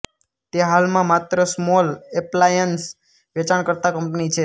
તે હાલમાં માત્ર સ્મોલ એપ્લાયન્સ વેચાણકર્તા કંપની છે